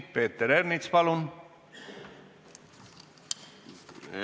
Peeter Ernits, palun!